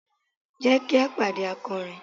Jẹ ki a pade akọrin